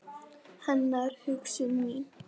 Hennar hugsun mín.